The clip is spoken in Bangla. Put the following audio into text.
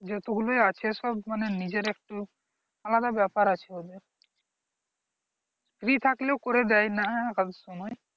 যতগুলি আছে সব মানে নিজের একটু আলাদা ব্যাপার আছে ওদের free থাকলেও করে দেয় না কাজের সময়।